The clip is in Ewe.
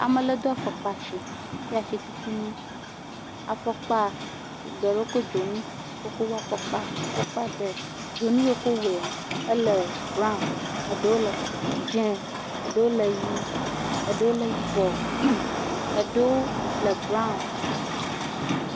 Ame le do afɔkpa asi kple asitutunu, afɔkpa geɖewo wokɔ dzonu, wokɔ wɔ afɔkpa, afɔkpa ɖe, dzonu ye wokɔ wɔea, ele braw, eɖewo le dzee, eɖewo le ʋɛ̃, eɖewo le yibɔ, eɖeɖwo le braw.